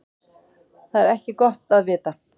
Það er ekki gott að vita.